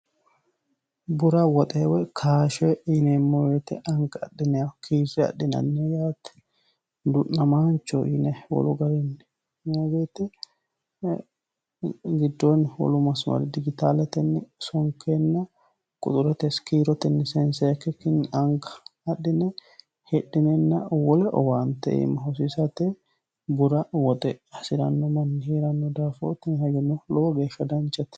Bura woxe Woyi kaashshe yineemmo woyiite anga adhinnanniho yaate wolu garinni du'namaanchoho yinanni. Tini hayyono lowo geeshsha danchate.